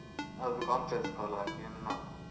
ಒಂದು conference call ಹಾಕಿ ಒಂದ್ ನೋಡುವ.